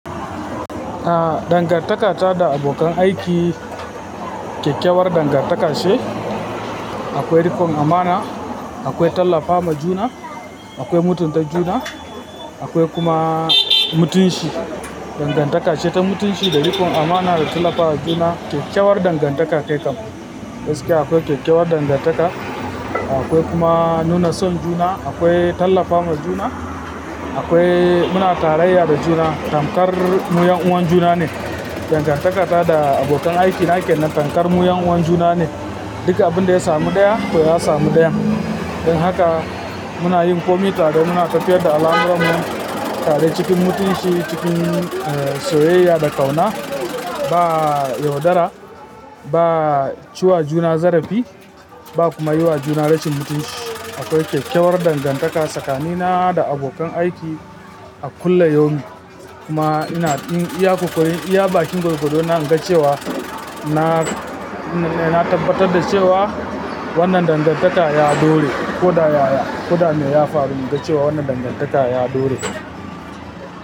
Ah, dangantaka ta da abokan aiki, kyakkyawar dangantaka ce. Akwai rikon amana, akwai tallafa ma juna, akwai mutunta juna, akwai kuma mutunci, Dangantaka ce ta mutunci da riƙon amana da tallafa wa juna. Kyakkyawar dangantaka kai kam. Gaskiya akwai kyakkyawar dangantaka, Akwai kuma nuna son juna, akwai tallafa ma juna, akwai muna tarayya da juna. Tamkar mu ƴan uwan juna ne. Dangantaka ta da abokan aiki na ke nan tamkar mu ƴan uwan juna ne. Duk abin da ya samu ɗaya, to ya samu ɗayan. Don haka muna yin komai tare, muna tafiyar da al'amuran mu tare cikin mutunci, cikin, eh, soyayya da ƙauna. Ba yaudara, ba ciwa juna zarafi ba kuma yi wa juna rashin mutunci. Akwai kyakkyawar dangantaka tsakanina da abokan aiki, a kulla yaumin. Kuma ina, in iya ƙoƙarin, iya bakin gurguɗo na, in ga cewa na, na, na tabbatar da cewa, wannan dangantaka ya ɗore. Ko da ya ya, ko da me ya faru, in ga cewa wannan dangantaka ya ɗore.